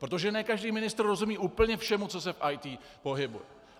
Protože ne každý ministr rozumí úplně všemu, co se v IT pohybuje.